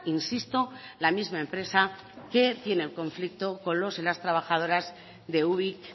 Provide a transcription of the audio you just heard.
insisto la misma empresa que tiene el conflicto con los y las trabajadoras de ubik